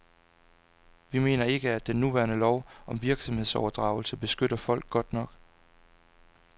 Vi mener ikke, at den nuværende lov om virksomhedsoverdragelse beskytter folk godt nok.